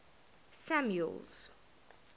samuel's